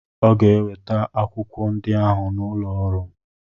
Ọ ga-eweta akwụkwọ ndị ahụ n'ụlọ ọrụ m.